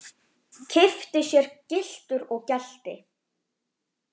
Keypti sér gyltur og gelti.